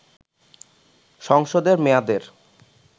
সংসদের মেয়াদের